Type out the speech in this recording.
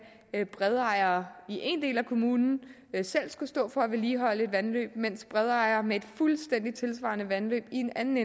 bredejere i én del af kommunen selv skulle stå for at vedligeholde et vandløb mens bredejere med et fuldstændig tilsvarende vandløb i en anden